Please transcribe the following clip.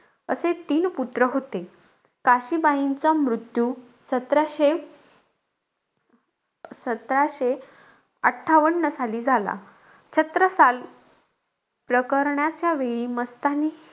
असे तीन पुत्र होते. काशीबाईंचा मृत्यू सतराशे सतराशे अठ्ठावन्न साली झाला. छत्रसाल प्रकरणाच्यावेळी मस्तानी,